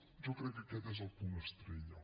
jo crec que aquest és el punt estrella